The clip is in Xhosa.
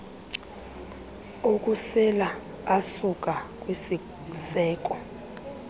okusela asuka kwisiseko